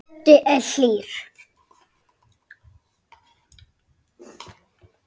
Böddi er hlýr.